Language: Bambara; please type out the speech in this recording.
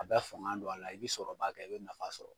A bɛ fanga don a la i bɛ sɔrɔ ba kɛ i bɛ nafa sɔrɔ.